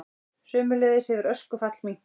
Sömuleiðis hefur öskufall minnkað